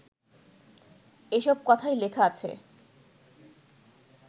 এসব কথাই লেখা আছে